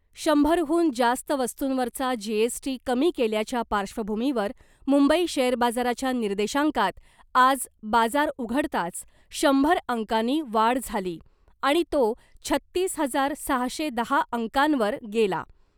शंभरहून जास्त वस्तुंवरचा जीएसटी कमी केल्याच्या पार्श्वभूमीवर मुंबई शेअर बाजाराच्या निर्देशांकात आज बाजार उघडताच शंभर अंकांनी वाढ झाली आणि तो छत्तीस हजार सहाशे दहा अंकांवर गेला .